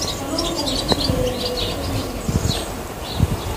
Kalluunku wuxuu yareeyaa dhibaatooyinka nafaqo-darrada.